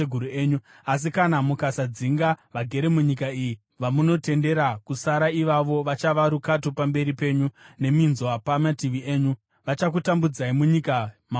“ ‘Asi kana mukasadzinga vagere munyika iyi, vamunotendera kusara ivavo vachava rukato pamberi penyu neminzwa pamativi enyu. Vachakutambudzai munyika mamugere.